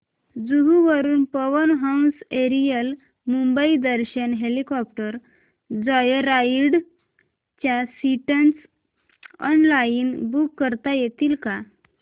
जुहू वरून Pawan Hans aerial Mumbai Darshan helicopter joyride च्या seats online book करता येतील का